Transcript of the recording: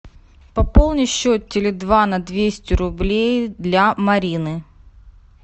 пополни счет теле два на двести рублей для марины